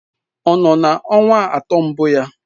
Ọ nọ na ọnwa atọ mbụ ya?